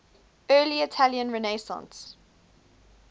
early italian renaissance